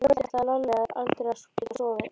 Um kvöldið ætlaði Lalli aldrei að geta sofnað.